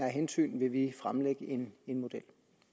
hensyn vil vi fremlægge en model